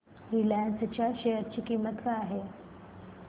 Reliance च्या share ची किंमत काय आहे